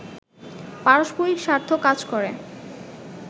পারষ্পরিক স্বার্থ কাজ করে